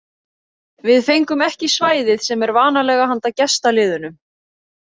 Við fengum ekki svæðið sem er vanalega handa gestaliðunum.